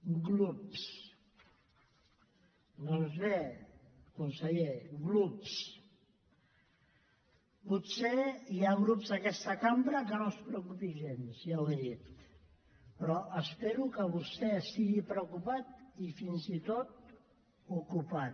glups doncs bé conseller glups potser hi ha grups d’aquesta cambra a qui no els preocupi gens ja ho he dit però espero que vostè estigui preocupat i fins i tot ocupat